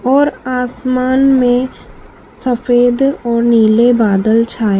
और आसमान में सफेद और नीले बादल छाए--